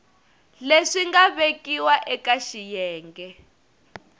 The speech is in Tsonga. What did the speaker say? leswi nga vekiwa eka xiyenge